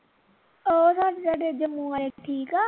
ਉਹ ਸਾਡੇ ਤੁਹਾਡੇ ਜਮੂੰ ਵਾਲੇ ਠੀਕ ਆ